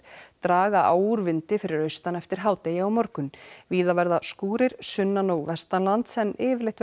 draga á úr vindi fyrir austan eftir hádegi á morgun víða verða skúrir sunnan og vestanlands en yfirleitt